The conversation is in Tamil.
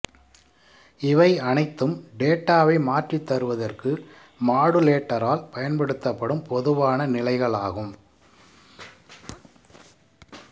இவை அனைத்தும் டேட்டாவை மாற்றித்தருவதற்கு மாடுலேட்டரால் பயன்படுத்தப்படும் பொதுவான நிலைகளாகும்